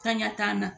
Kan ɲɛ t'an na